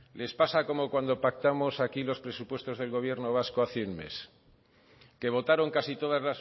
les pasa como cuando pactamos aquí los presupuestos del gobierno vasco hace un mes que votaron casi todas